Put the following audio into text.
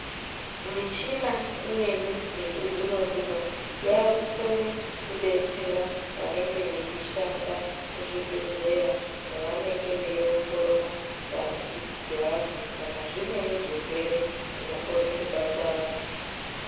Michina imweni yechizvinozvino yakukone kubetsera vanenge veishanda muzvibhedhlera pavanenge veiongorora ngazi dzevantu kana zvimweni zvirwere zvinokone kubata vantu .